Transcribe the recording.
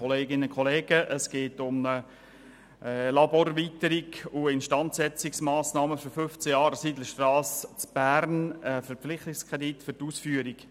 der BaK. Es geht um eine Laborerweiterung und Instandsetzungsmassnahmen für 15 Jahre an der Sidlerstrasse 5 in Bern.